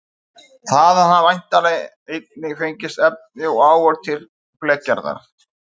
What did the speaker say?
Þaðan hafa væntanlega einnig fengist efni og áhöld til blekgerðar.